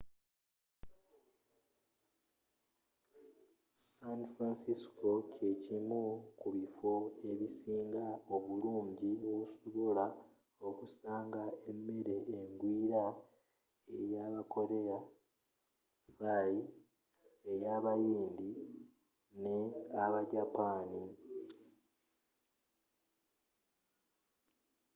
san francisco kye kimu ku biffo ebisinga obulungi wosobola okusanga emmere engwiira eya aba korea thai eya abayindi ne aba japaani